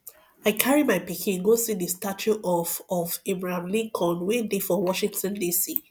i carry my pikin go see the statue of of abraham lincoln wey dey for washington dc